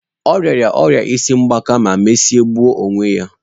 Ọ rịara ọrịa isi ngbaka ma mesịa gbuo onwe ya.